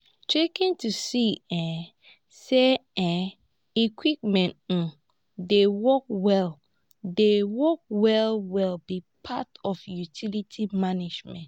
checkin to see um say um equipments um dey work well dey work well well be part of utility management